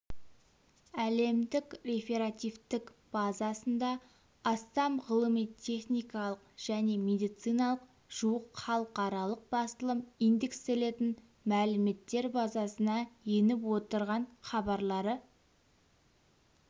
әлемдік реферативтік базасында астам ғылыми-техникалық және медициналық жуық халықаралық басылым индекстелетін мәліметтер базасына еніп отырған хабарлары